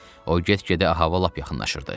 O get-gedə hava lap yaxınlaşırdı.